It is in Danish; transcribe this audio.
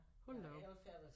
Hold da op